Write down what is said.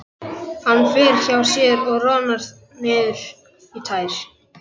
Hann fer hjá sér og roðnar niður í tær.